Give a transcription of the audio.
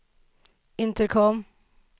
intercom